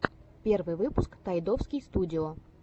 первый выпуск тайдовский студио